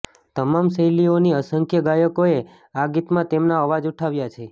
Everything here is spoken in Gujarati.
તમામ શૈલીઓની અસંખ્ય ગાયકોએ આ ગીતમાં તેમના અવાજ ઉઠાવ્યા છે